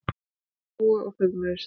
Þau hlógu og föðmuðust.